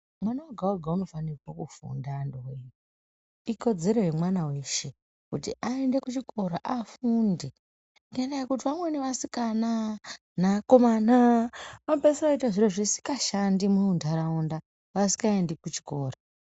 Mwana woga-woga unofanirwa kufunda antuwee. Ikodzero yemwana weshe kuti aende kuchikora, afunde ngendaa yekuti vamweni vasikana neakomana anopeisira ooite zviro zvisikashandi muntaraunda, vasikaendi kuchikora.